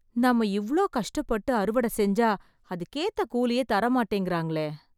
நம்ம இவளோ கஷ்டப்பட்டு அறுவடை செஞ்சா அதுக்கேத்த கூலியே தரமாட்டிங்கறாங்களே